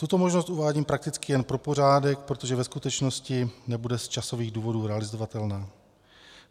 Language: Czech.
Tuto možnost uvádím prakticky jen pro pořádek, protože ve skutečnosti nebude z časových důvodů realizovatelná.